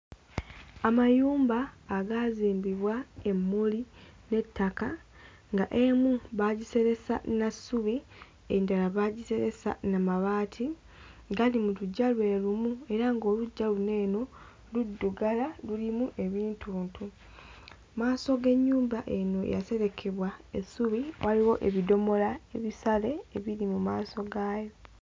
Amayumba agaazimbibwa emmuli n'ettaka ng'emu baagiseresa na ssubi, endala baagiseresa na mabaati. Gali mu luggya lwe lumu era ng'oluggya luno eno luddugala, lulimu ebintuntu. Mu maaso g'ennyumba eno eyaserekebwa essubi waliwo ebidomola ebisale ebiri mu maaso gaayo.